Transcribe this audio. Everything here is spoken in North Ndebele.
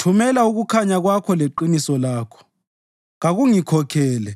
Thumela ukukhanya kwakho leqiniso lakho, kakungikhokhele;